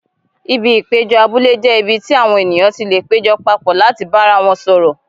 Ibi ìpéjọ abúlé jẹ́ ibi tí àwọn ènìyàn ti lè péjọ papọ̀ láti bára wọn sọ̀rọ̀.